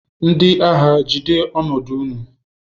Ndị agha, jide ọnọdụ ụnụ!